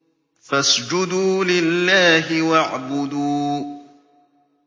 فَاسْجُدُوا لِلَّهِ وَاعْبُدُوا ۩